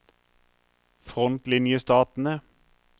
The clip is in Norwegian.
frontlinjestatene